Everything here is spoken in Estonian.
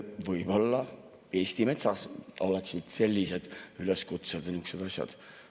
Võib-olla Eesti Metsas sellised üleskutsed ja niisugused asjad.